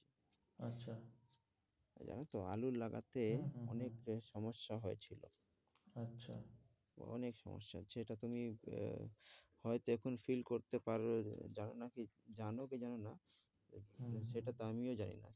জানো তো আলু লাগাতে অনেক বেশ সমস্যা হয়েছিল আচ্ছা তো অনেক সমস্যা সেটা তুমি আহ হয়তো এখন feel করতে পারো জানো নাকি, জানো কি জানো না হম সেটা তো আমিও জানি না।